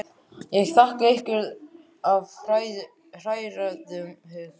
Ég þakka ykkur af hrærðum hug.